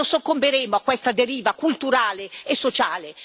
Noi non soccomberemo a questa deriva culturale e sociale.